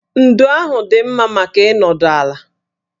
Ndo ahụ dị mma maka ịnọdụ ala